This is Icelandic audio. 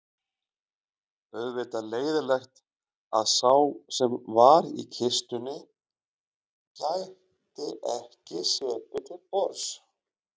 Auðvitað leiðinlegt að sá sem var í kistunni gæti ekki setið til borðs